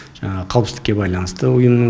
жаңағы қауіпсіздікке байланысты ұйымның